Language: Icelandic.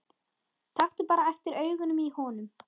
Taktu bara eftir augunum í honum.